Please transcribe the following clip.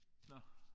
Nåh